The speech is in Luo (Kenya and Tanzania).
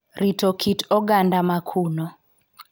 Rito kit oganda ma kuno